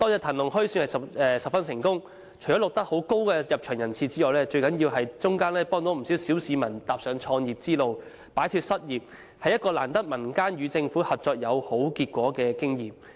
"騰龍墟"可算辦得十分成功，除了錄得甚高的入場人次外，最重要是幫助了不少小市民踏上創業之路，擺脫失業，是民間與政府合作而有好結果的難得經驗。